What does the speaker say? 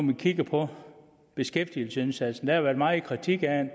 vi kigger på beskæftigelsesindsatsen er at været meget kritik af